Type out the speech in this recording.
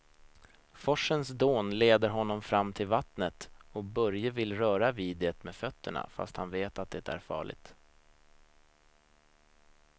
Forsens dån leder honom fram till vattnet och Börje vill röra vid det med fötterna, fast han vet att det är farligt.